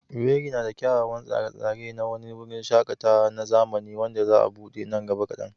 Owerri na da kyawawan tsare-tsare na wani wurin shaƙatawa na zamani wanda za a buɗe nan gaba kadan.